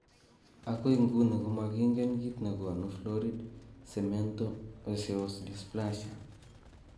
Agoi nguni koma kingen kit ne gonu florid cemento osseous dysplasia?